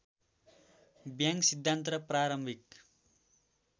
bang सिद्धान्त प्रारम्भिक